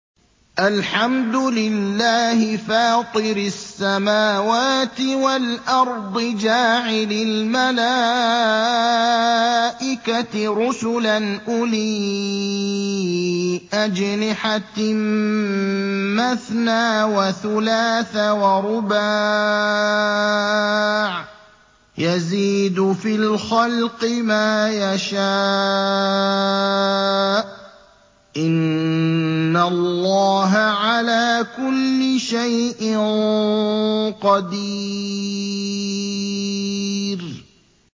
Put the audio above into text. الْحَمْدُ لِلَّهِ فَاطِرِ السَّمَاوَاتِ وَالْأَرْضِ جَاعِلِ الْمَلَائِكَةِ رُسُلًا أُولِي أَجْنِحَةٍ مَّثْنَىٰ وَثُلَاثَ وَرُبَاعَ ۚ يَزِيدُ فِي الْخَلْقِ مَا يَشَاءُ ۚ إِنَّ اللَّهَ عَلَىٰ كُلِّ شَيْءٍ قَدِيرٌ